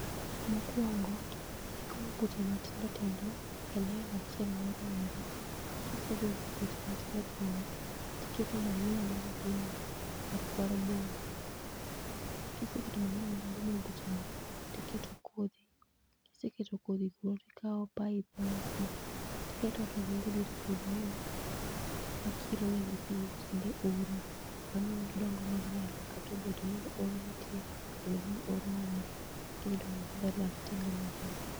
Mokuongo igoyo beche matindo tindo e line achiel moriere. Kisego buche matindo tindo, tiketo manyiwa mar dhiang' mar mar boma. Kiseketo manyiwa mar boma e buche gi tiketo kodhi, kiseketo kodhi koro tikao pipe mar pi, tiketo to ringo e dier puodhono ma kiro ne gi pi e kinde oro ma miyo gidongo maber kata obedo ni oro nitie kata obedo ni oro onge gidhi dongo maber ma gitimre maber.